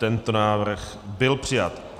Tento návrh byl přijat.